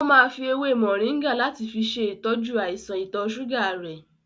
O máa fi èwe moringa láti fi ṣe ìtọ́jú àìsàn ọ̀tọ̀ ṣúgà rẹ̀.